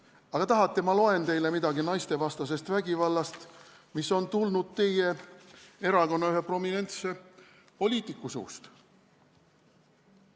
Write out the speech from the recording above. Aga kas tahate, ma loen teile ette midagi naistevastase vägivalla kohta, mis on tulnud teie erakonna ühe prominentse poliitiku suust?